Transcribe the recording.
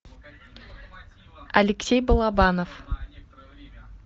алексей балабанов